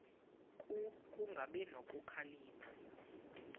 ku kungabi nokhalipho